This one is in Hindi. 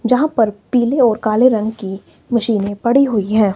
जहां पर पीले और काले रंग की मशीने पड़ी हुई हैं।